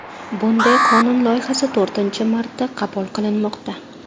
Bunday qonun loyihasi to‘rtinchi marta qabul qilinmoqda.